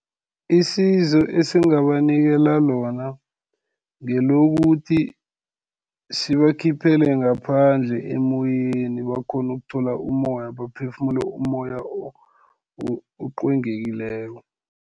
Isizo esingabanikela lona, ngelokuthi sibakhiphele ngaphandle emoyeni, bakghone ukuthola umoya, baphefumule umoya oqwengekileko.